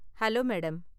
Hello madam.